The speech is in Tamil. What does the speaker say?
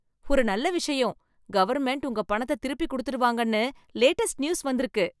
ஒரு நல்ல விஷயம். கவர்ன்மென்ட் உங்க பணத்த திருப்பிக் குடுத்துடுவாங்கன்னு லேட்டஸ்ட் நியூஸ் வந்திருக்கு